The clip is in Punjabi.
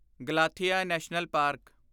Galathea national park